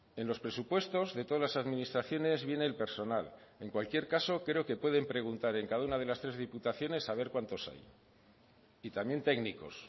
en los presupuestos de todas las administraciones viene el personal en cualquier caso creo que pueden preguntar en cada una de las tres diputaciones a ver cuántos hay y también técnicos